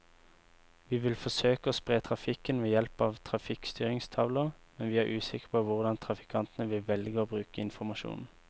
Vi vil forsøke å spre trafikken ved hjelp av trafikkstyringstavler, men vi er usikre på hvordan trafikantene vil velge å bruke informasjonen.